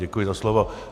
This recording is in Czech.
Děkuji za slovo.